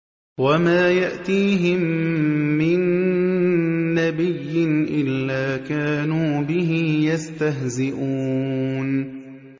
وَمَا يَأْتِيهِم مِّن نَّبِيٍّ إِلَّا كَانُوا بِهِ يَسْتَهْزِئُونَ